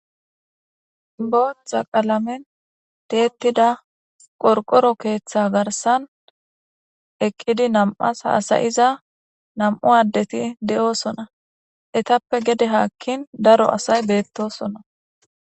Booththa qalamen deettida qorqoro keeththa garsan eqqidi nam'as haasayiza nam'u addeti de'oosona etappe gede haakkin daro asay beettosonna.